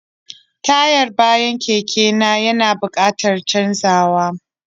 Tayar bayana keke na ya na buƙatar canzawa.